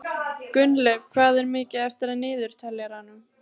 Gunnleif, hvað er mikið eftir af niðurteljaranum?